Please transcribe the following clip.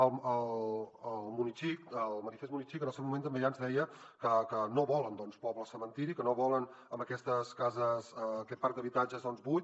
el munixic el manifest munixic en el seu moment també ja ens deia que no volen doncs pobles cementiri que no volen aquestes cases aquest parc d’habitatges buit